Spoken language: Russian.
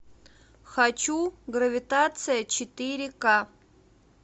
хочу гравитация четыре ка